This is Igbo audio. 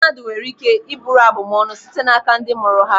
Mmadụ nwere ike iburu abum ọnụ site n'aka ndị mụrụ ha.